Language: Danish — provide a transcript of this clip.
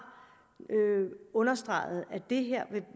understreget at det her vil